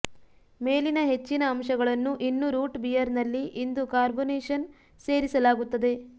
ಮೇಲಿನ ಹೆಚ್ಚಿನ ಅಂಶಗಳನ್ನು ಇನ್ನೂ ರೂಟ್ ಬಿಯರ್ನಲ್ಲಿ ಇಂದು ಕಾರ್ಬೋನೇಷನ್ ಸೇರಿಸಲಾಗುತ್ತದೆ